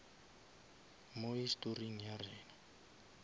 mo historing ya rena